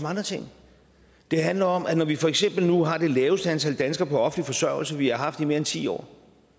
andre ting det handler om at når vi for eksempel nu har det laveste antal danskere på offentlig forsørgelse vi har haft i mere end ti år